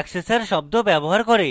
accessor শব্দ ব্যবহার করে